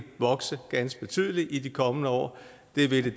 vokse ganske betydeligt i de kommende år det vil